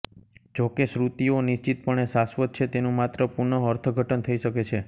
જોકે શ્રુતિઓ નિશ્ચિતપણે શાશ્વત છે તેનું માત્ર પુનઃઅર્થઘટન થઈ શકે છે